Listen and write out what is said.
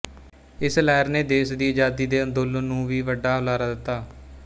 ਇਸ ਲਹਿਰ ਨੇ ਦੇਸ਼ ਦੀ ਅਜ਼ਾਦੀ ਦੇ ਅੰਦੋਲਨ ਨੂੰ ਵੀ ਵੱਡਾ ਹੁਲਾਰਾ ਦਿੱਤਾ